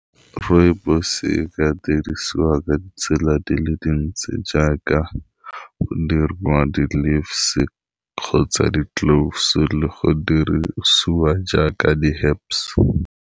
Rooibos-e e ka dirisiwa ka ditsela di le dintsi jaaka go dirwa di-leaves kgotsa di-cloves le go dirisiwa jaaka di haps.